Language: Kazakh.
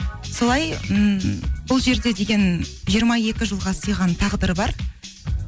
солай ммм бұл жерде деген жиырма екі жылға сыйған тағдыр бар